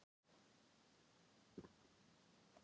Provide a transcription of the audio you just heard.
Hann skilur ekkert í sjálfum sér.